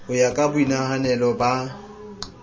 ho ya ka boinahanelo ba